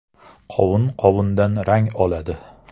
“Qovun qovundan rang oladi.